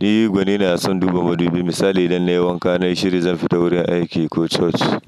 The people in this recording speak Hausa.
Ni gwanina a son duba madubi misali idan na yi wanka na yi shiri zan fita wurin aiki ko coci.